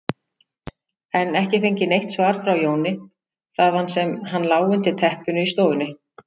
en ekki fengið neitt svar frá Jóni, þaðan sem hann lá undir teppinu í stofunni.